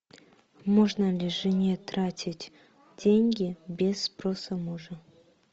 можно ли жене тратить деньги без спроса мужа